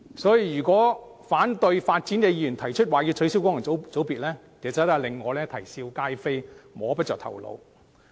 所以，反對發展的議員提出要取消功能界別，其實令我啼笑皆非，摸不着頭腦。